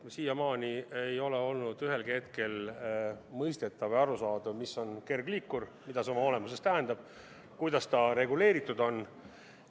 Siiamaani ei ole olnud ühelgi hetkel mõistetav ja arusaadav, mis on kergliikur, mida see oma olemuselt tähendab, kuidas sellega liiklemine reguleeritud on.